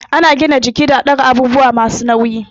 Ana gina jiki da ɗaga abubuwa masu nauyi